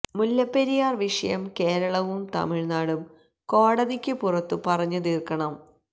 മുല്ലപ്പെരിയാര് വിഷയം കേരളവും തമിഴ്നാടും കോടതിക്കു പുറത്തു പറഞ്ഞു തീര്ക്കണം